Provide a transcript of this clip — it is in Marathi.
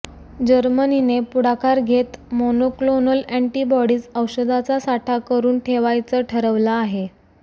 जर्मनीने पुढाकार घेत मोनोक्लोनल अँटीबॉडीज औषधाचा साठा करून ठेवायचं ठरवलं आहे